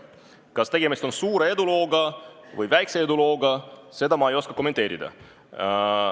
Kas tegemist on suure või väikse edulooga, seda ei oska ma kommenteerida.